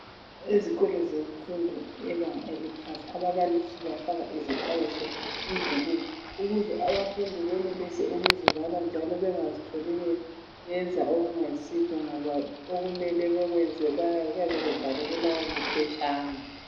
Ezikolo semfundo yebanga eziphansi ababalisi bafaka izixwayiso emdulwini ukuze abafundi benelise ukuzibala njalo bengazitholi beyenza okungayisikho ngoba okumele bekwenzi kuyabe kubhalwe kulawo maphetshana.